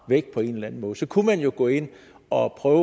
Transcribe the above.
væk på en eller anden måde så kunne man jo gå ind og prøve